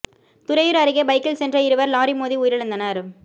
துறையூா் அருகே பைக்கில் சென்ற இருவா் லாரி மோதி உயிரிழந்தனா்